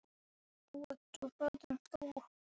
Nú ertu farin frá okkur.